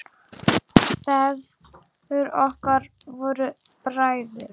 Feður okkar voru bræður.